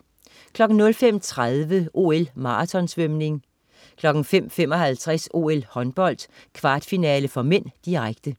05.30 OL: Maraton-svømning 05.55 OL: Håndbold, kvartfinale (m), direkte